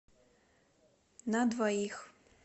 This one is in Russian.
на двоих